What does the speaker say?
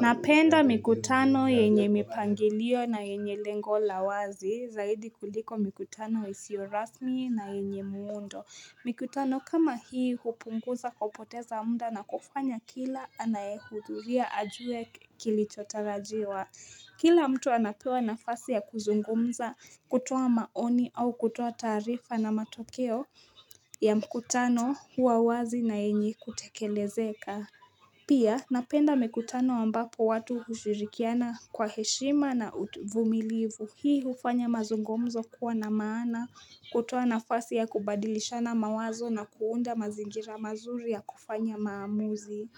Napenda mikutano yenye mipangilio na yenye lengo la wazi zaidi kuliko mikutano isiyo rasmi na yenye muundo Mikutano kama hii hupunguza kupoteza muda na kufanya kila anayehudhuria ajue kilichotarajiwa Kila mtu anapewa nafasi ya kuzungumza kutoa maoni au kutoa taarifa na matokeo ya mikutano huwa wazi na yenye kutekelezeka Pia napenda mikutano ambapo watu hushirikiana kwa heshima na uvumilivu hii hufanya mazungumzo kuwa na maana hutoa nafasi ya kubadilishana mawazo na kuunda mazingira mazuri ya kufanya maamuzi